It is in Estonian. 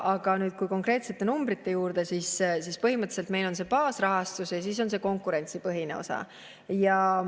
Aga nüüd, kui tulla konkreetsete numbrite juurde, siis põhimõtteliselt on baasrahastus ja siis on konkurentsipõhine osa.